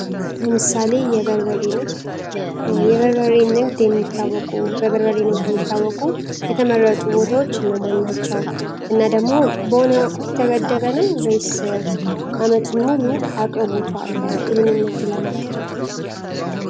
ለምሳሌ የበርበሬ ንግድ በበርበሬ ንግድ የሚታወቁ የተመረጡ ቦታዎች እነማን ናቸው ደግሞ በሆነ ወቅት የተገደበ ነው ወይንስ አመቱን ሙሉ አቅርቦቱ አለ ይህንን ንግድ ለማካሄድ?